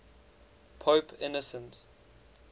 pope innocent